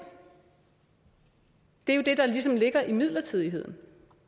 det er jo det der ligesom ligger i midlertidigheden